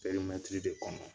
Perimɛtiri de kɔnɔ.